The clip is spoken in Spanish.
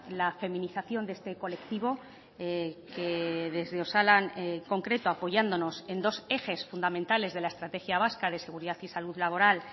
la feminización de este colectivo que desde osalan en concreto apoyándonos en dos ejes fundamentales de la estrategia vasca de seguridad y salud laboral